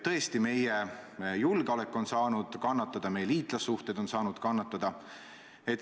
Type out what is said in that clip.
Tõesti, meie julgeolek on saanud kannatada, meie liitlassuhted on saanud kannatada.